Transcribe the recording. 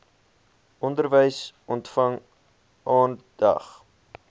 onderwys ontvang aandag